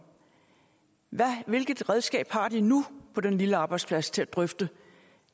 hvilket redskab har de nu på den lille arbejdsplads til at drøfte